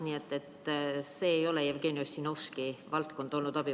Abivahendid ei ole Jevgeni Ossinovski valdkond olnud.